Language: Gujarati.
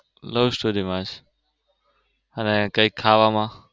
love story માં જ અને કૈક ખાવામાં?